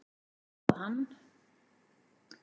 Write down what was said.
Svo að hann.